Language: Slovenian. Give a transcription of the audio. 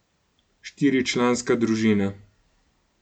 Štiričlanska družina.